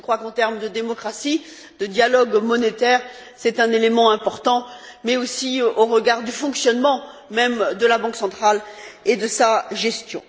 En termes de démocratie, le dialogue monétaire est un élément important, mais aussi au regard du fonctionnement même de la Banque centrale et de sa gestion.